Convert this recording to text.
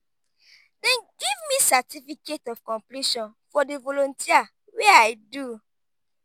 dem give me certificate of completion for di volunteer wey i do.